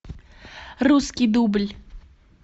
русский дубль